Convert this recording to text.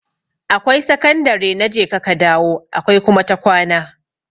Akwai sakandare na jeka ka dawo akwai kuma ta kwana.